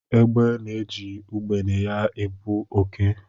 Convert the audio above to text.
Egbe na-eji ugbene ya ebu oké.